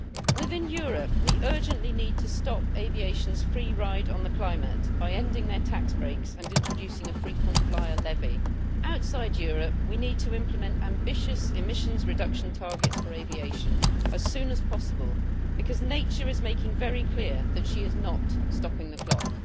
Within Europe, we urgently need to stop aviation's free ride on the climate by ending their tax breaks and introducing a frequent flyer levy. Outside Europe, we need to implement ambitious emissions reduction targets for aviation as soon as possible, because nature is making it very clear that she is not stopping the clock'.